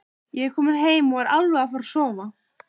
Ég er kominn heim og alveg að fara að sofa.